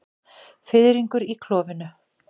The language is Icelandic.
Fiðringur í klofinu.